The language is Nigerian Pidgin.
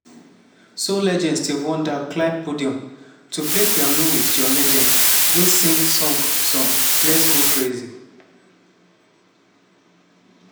soul legend stevie wonder climb podium – to play piano wit john legend wey sing prince song song let's go crazy.